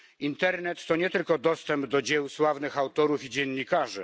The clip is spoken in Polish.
Internet to nie tylko dostęp do dzieł sławnych autorów i dziennikarzy.